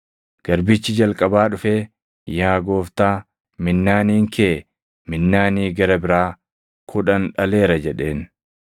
“Garbichi jalqabaa dhufee, ‘Yaa Gooftaa, minnaaniin kee minnaanii gara biraa kudhan dhaleera’ jedheen.